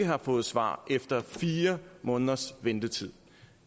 har fået svar efter fire måneders ventetid